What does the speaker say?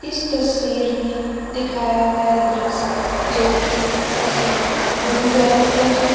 इस तस्वीर में दिखाया गया दृश्य जो कि किसी गुरुद्वारा का है।